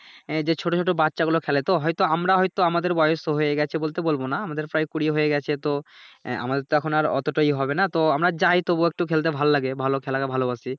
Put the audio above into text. এ যে ছোট ছোট বাচ্চা গুলো খেলে তো হয়তো আমরা হয়তো আমাদের বয়স তো হয়ে গেছে বলতে বলবো না আমাদের প্রায় কুড়ি হয়ে গেছে তো আহ আমাদের তো এখন আর অতোটা ইয়ে হবে নাহ তো আমরা যাই তবুও একটু খেলতে ভালো লাগে ভালো খেলাকে ভালোবাসি